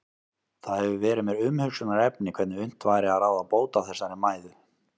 Það hefur verið mér umhugsunarefni hvernig unnt væri að ráða bót á þessari mæðu.